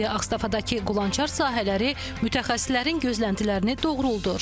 İndi Ağstafadakı qulançar sahələri mütəxəssislərin gözləntilərini doğruldur.